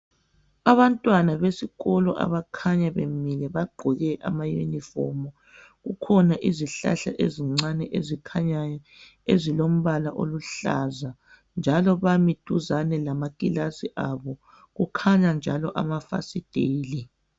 Abantwana besikolo abakhanya bemile bagqoke ama unifomu kukhona izihlhla ezincane ezikhanyayo ezilombala oluhlaza njalo bami duzani lama klasi abo, kukhanya njalo amafasitela.